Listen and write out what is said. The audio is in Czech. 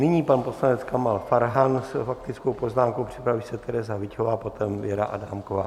Nyní pan poslanec Kamal Farhan s faktickou poznámkou, připraví se Tereza Hyťhová, potom Věra Adámková.